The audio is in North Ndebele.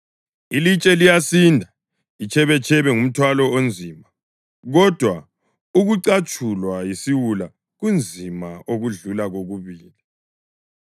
Ilitshe liyasinda, itshebetshebe ngumthwalo onzima, kodwa ukucatshulwa yisiwula kunzima okudlula kokubili.